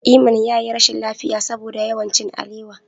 Iman ya yi rashin lafiya saboda yawan cin alewa.